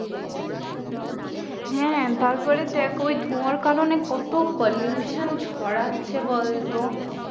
হ্যাঁ তারপরে দেখ ওই ধোঁয়ার কারণ কত pollution ছড়াচ্ছে বলতো